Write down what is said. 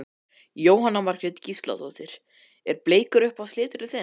Jóhanna Margrét Gísladóttir: Er bleikur uppáhalds liturinn þinn?